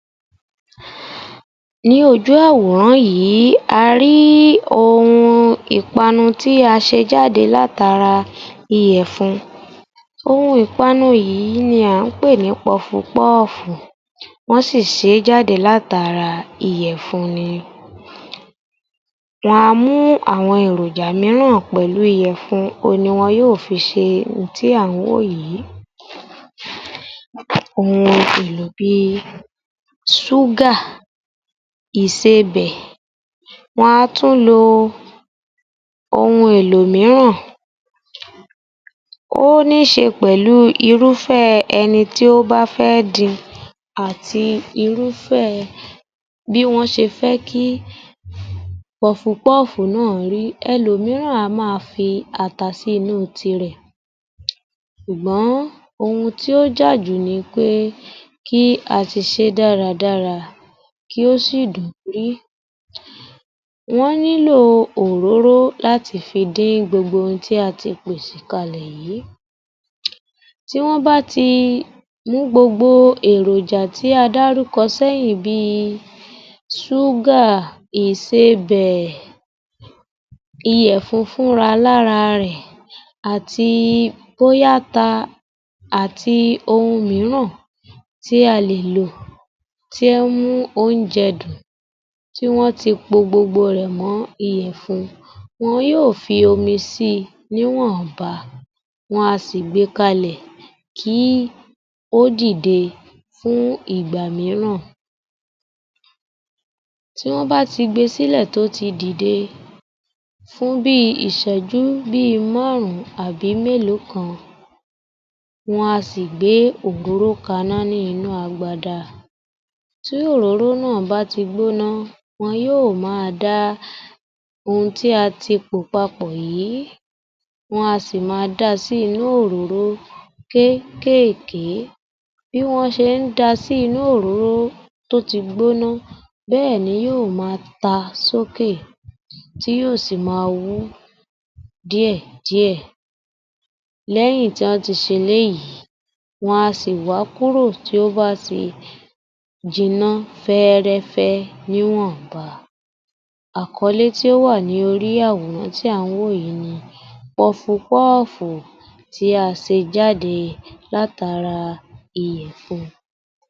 22_ _yoruba_yor_f_518_AG00002 Ní ojú àwòrán yì í a rí í òun ìpaanu tí a ṣe jáde látara iyẹ̀fun. Ohun ìpaanu yì í ni à ń pè ní pọfupọ́ọ́fù wọ́n sì ì ṣe é jáde látara iyẹ̀fun ni. Wọn a mú àwọn èròjà míràn pẹ̀lu iyẹ̀fun, òun ni wọn yóò fi ṣe ohun tí à ń wò yÌ í. Ohun elo bí i súgà, Ísebẹ̀, wọn á tún lo o ohun èlò míràn, ó ní se pẹ̀lú irúfẹ́ ẹni tí ó bá fé é dín-in àti irúfẹ́ bí wọ́n ṣe fẹ́ kí pọfupọ́ọ́fù ná à rí í. Elòmíràn a má a fi ata sínú tirẹ̀ sùgbọ́n ohun tí ó jàjù ni pé kí a ti ṣe é dáradára kí ó sì ì dùn rí í. Wọn nílò òróró láti fi dín-ín gbogbo ohun tí a ti pèsè kalẹ̀ yì í. Tí wọn bá ti mú gbogbo èròjà tÍ a dárúkọ séẹ́yìn bí i, súgà, Ísebẹ̀, iyẹ̀fun fúnra alára rẹ̀ àti bọ́yá ata àti ohun míràn tí a lè lò tí áǹ mú òunjẹ dùn, tí wọ́n ti po gbogbo rẹ̀ mọ́ iyẹ̀fun. Wọn yó ò fi omi sí i níwọ̀nba, wọn a sì gbe kalẹ̀ kí ó dìde fún ìgbà míràn. Tí wọn bá ti gbe e sí lẹ̀ tó tí dìde fún bí i ìṣẹ́jú bí i márùn-ún àbí mẹ́lòó kan, wọn a sì gbe òróró kaná ní inú agbada. Tí òróró ná à bá ti gbọ́ná wọn yó ò má a dá ohun tí a ti pò papọ̀ yì í. Wọn a sì ì má a da sí í inú òróró kéékèké. Bí wọ́n ṣé ń dá a sí inú òróró tó ti gbóná, bẹ́ ẹ̀ ni yó ó ma ta sókè, tí yó ò sì ì máa wú ú díẹ̀díẹ̀. Lẹ́yìn tí án ti ṣe eléyìí wọn a sì ì wà á kúrò tí ó bá ti jiná fẹ́ẹ́rẹ́fẹ́ níwọ̀ba. Àkọlé tí ó wà lórí i àwòrán tí à ń wò yì í ni pọfupọ́ọ́fù tí a ṣe jáde látara iyẹ̀fun.